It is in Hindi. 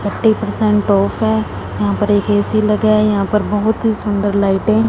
फोर्टी पर्सेंट ऑफ है यहां पर एक ए_सी लगा है यहां पर बहुत ही सुंदर लाइटें --